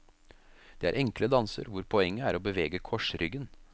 Det er enkle danser, hvor poenget er å bevege korsryggen.